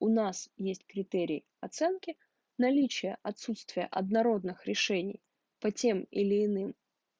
у нас есть критерии оценки наличия отсутствия однородных решений по тем или иным